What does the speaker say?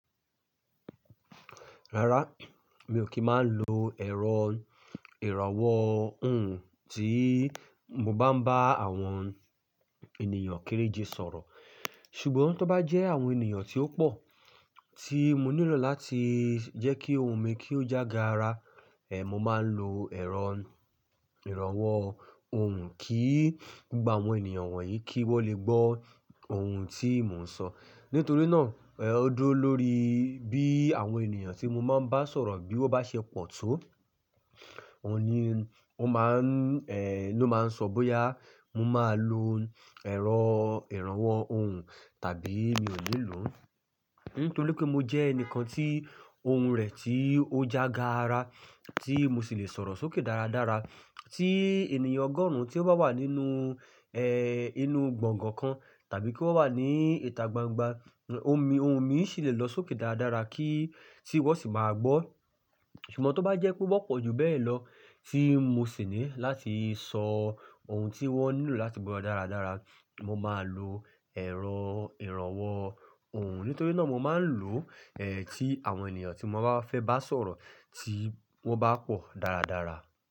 Rárá, mi ò kí máa ń lo ẹ̀rọ ìrànwọ́ ohùn tí mo bá ń bá àwọn ènìyàn kéréje sọ̀rọ̀. Ṣùgbọ́n tó bá jẹ́ àwọn ènìyàn tí ó pọ̀ tí mo nílò láti jẹ́ kí ohùn mi kí ó jága ara, eh, mo máa ń lo ẹ̀rọ ìrànwọ́ ohùn kí gba àwọn ènìyàn wọ̀nyí kí wọ́n lè gbọ́ ohùn tí mò ń sọ. Nítorí náà, ó dúró lórí bí àwọn ènìyàn tí mo máa ń bá sọ̀rọ̀ bí wọ́n bá ṣe pọ̀ tó. Òun ni, ó máa ń, ẹ́, ló máa ń sọ bóyá mo máa lo ẹ̀rọ ìrànwọ́ ohùn tàbí mi ò ní lò ó. Nítorí pé mo jẹ́ ẹnìkan tí ohùn rẹ̀ tí ó jága ara, tí mo sì lè sọ̀rọ̀ sókè dáradára, tí ènìyàn ọgọ́rùn-ún tí ó bá wà nínú, ẹ́, inú gbọ̀ngàn kan tàbí kí ó bá wà ní ìta gbangba, ohun mi, ohun mi sì lè lọ sókè dáradára kí, tí wọ́n sì máa gbọ́. Ṣùgbọ́n tó bá jẹ́ pé bó pọ̀ ju bẹ́ẹ̀ lọ tí mo sì ní láti sọ ohun tí wọ́n nílò láti gbọ́ dáradára, mo máa lo ẹ̀rọ ìrànwọ́ ohùn. Nítorí náà mo máa ń lò ó, ẹ́, tí àwọn ènìyàn tí mo bá fẹ́ bá sọ̀rọ̀ tí wọ́n bá pọ̀ dáradára.